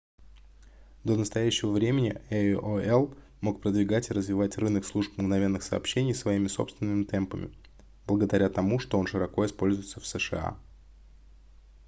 до настоящего времени aol мог продвигать и развивать рынок служб мгновенных сообщений своими собственными темпами благодаря тому что он широко используется в сша